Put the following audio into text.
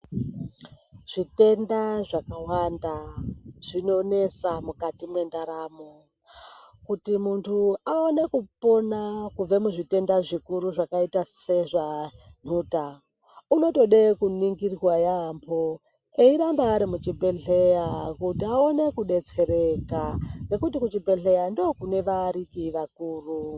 Zvitenda zvakawanda zvinonesa mukati mwendaramo. Kuti muntu aone kupona kubve muzvitenda zvikuru zvakaita sezvanhuta, unotode kuningirwa yaampho ,eiramba ari muchibhedhleya ,kuti aone kudetsereka ,ngekuti kuchibhedhleya ndokune vaariki vakuru.